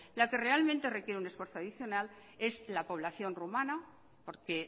lo que realmente requiere un esfuerzo adicional es la población rumana porque